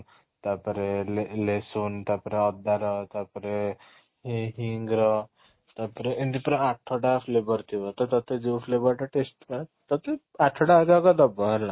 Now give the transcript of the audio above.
ତାପରେ ତା ପରେ ଅଦା ର ତାପରେ ହିଁ hing ର ତାପରେ ଏମିତି ପୁରା ଆଠଟା flavor ଥିବ ତ ତତେ ଯୋଉ flavor ଟା taste ତୋତେ ଆଠଟା ଯାକ ଦବ ହେଲା